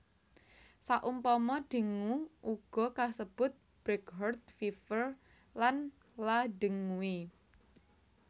Saumpama dengue uga kasebut breakheart fever lan la dengue